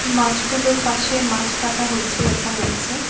মাছগুলোর পাশে মাছ কাটা হচ্ছে দেখা যাচ্ছে।